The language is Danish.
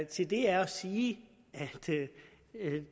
til det er at sige at